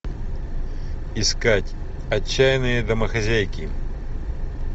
искать отчаянные домохозяйки